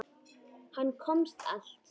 Hann komst allt.